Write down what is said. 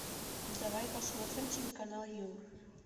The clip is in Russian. давай посмотрим телеканал ю